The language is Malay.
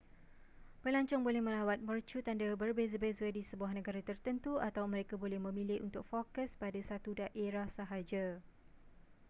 pelancong boleh melawat mercu tanda berbeza-beza di sebuah negara tertentu atau mereka boleh memilih untuk fokus pada satu daerah sahaja